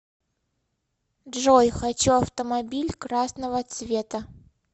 джой хочу автомобиль красного цвета